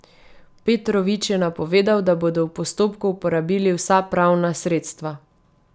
Petrovič je napovedal, da bodo v postopku uporabili vsa pravna sredstva.